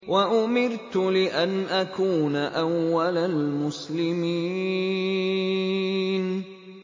وَأُمِرْتُ لِأَنْ أَكُونَ أَوَّلَ الْمُسْلِمِينَ